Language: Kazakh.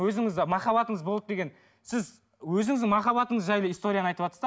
өзіңізде махаббатыңыз болды деген сіз өзіңіздің махаббатыңыз жайлы историяны айтыватсыз да